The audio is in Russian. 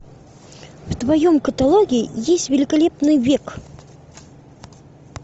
в твоем каталоге есть великолепный век